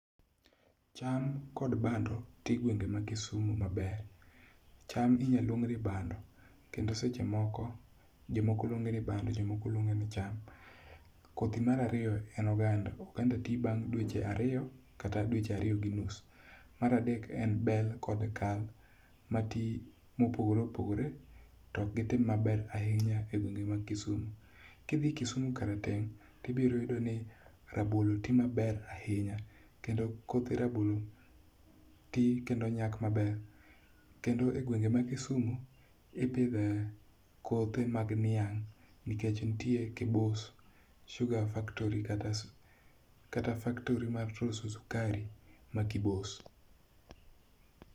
Cham kod bando nitie e gwenge ma Kisumo maber. Cham inya luong ni bando kendo seche moko jomoko luonge ni bando jomoko luonge ni cham. kodhi mar ariyo en oganda. Oganda ti bang' dweche ariyo kata dweche ariyo gi nus. Mar adek en bel kod kal mati mopogore opogore to ok gitem mebr ahinya e gwenge mag Kisumo. Ki dhi Kisumo karateng' ibiro yudo ni rabolo ti maber ahinya. Kendo kothe rabolo ti kendo nyak maber. Kendo e gwenge ma Kisumo ipidhe kothe mag niang' nikech nitie Kibos Sugar Factory kata faktori mar loso sukari ma Kibos.